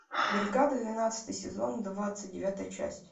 бригада двенадцатый сезон двадцать девятая часть